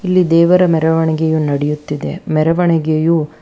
ಇಲ್ಲಿ ದೇವರ ಮೆರವಣಿಗೆಯು ನಡೆಯುತ್ತಿದೆ ಮೆರವಣಿಗೆಯು--